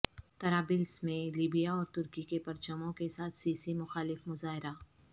طرابلس میں لیبیا اور ترکی کے پرچموں کے ساتھ سیسی مخالف مظاہرہ